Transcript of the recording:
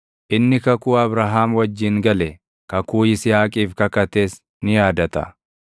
inni kakuu Abrahaam wajjin gale, kakuu Yisihaaqiif kakates ni yaadata.